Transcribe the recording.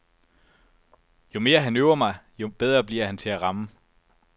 Jo mere han øver mig, jo bedre bliver han til at ramme.